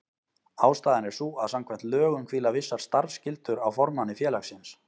Ástæðan er sú að samkvæmt lögum hvíla vissar starfsskyldur á formanni félagsins.